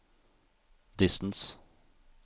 distance